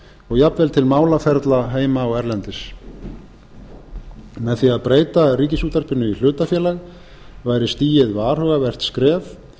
og jafnvel til málaferla heima og erlendis með því að breyta ríkisútvarpinu í hlutafélag væri stigið varhugavert skref